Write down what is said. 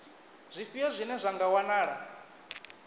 zwifhio zwine zwa nga wanala